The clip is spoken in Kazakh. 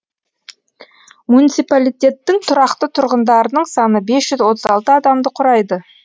муниципалитеттің тұрақты тұрғындарының саны бес жүз отыз алты адамды құрайды